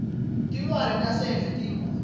tilwane tasendle tiyingoti